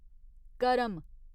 करम